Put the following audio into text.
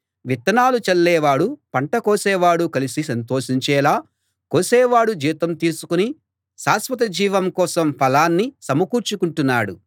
విత్తనాలు చల్లేవాడూ పంట కోసేవాడూ కలసి సంతోషించేలా కోసేవాడు జీతం తీసుకుని శాశ్వత జీవం కోసం ఫలాన్ని సమకూర్చుకుంటున్నాడు